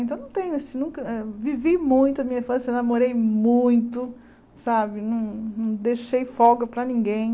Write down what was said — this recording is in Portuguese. Então, não tenho esse nunca eh... Vivi muito a minha infância, namorei muito, sabe não não deixei folga para ninguém.